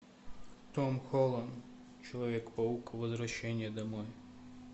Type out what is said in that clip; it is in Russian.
том холланд человек паук возвращение домой